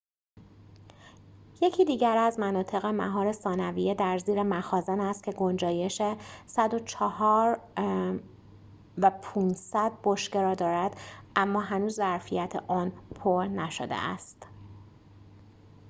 یکی دیگر از مناطق مهار ثانویه در زیر مخازن است که گنجایش ۱۰۴.۵۰۰ بشکه را دارد اما هنوز ظرفیت آن پر نشده است